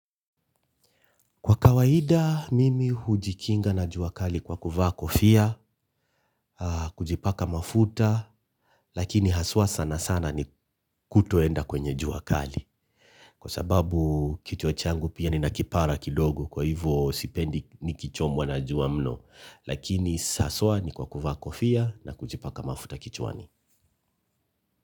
Kwa kawaida mimi hujikinga na jua kali kwa kuvaa kofia, kujipaka mafuta, lakini haswa sana sana ni kutoenda kwenye jua kali. Kwa sababu kichwa changu pia nina kipara kidogo kwa hivyo sipendi nikichomwa na jua mno, lakini saswa ni kwa kuvaa kofia na kujipaka mafuta kichwani.